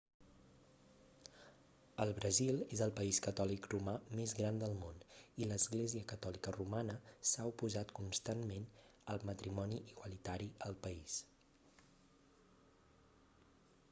el brasil és el país catòlic romà més gran del món i l'església catòlica romana s'ha oposat constantment al matrimoni igualitari al país